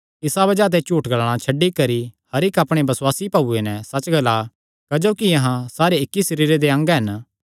इसा बज़ाह ते झूठ ग्लाणा छड्डी करी हर इक्क अपणे बसुआसी भाऊये नैं सच्च ग्ला क्जोकि अहां सारे इक्की सरीरे दे अंग हन